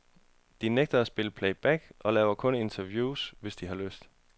De nægter at spille playback og laver kun interview, hvis de har lyst.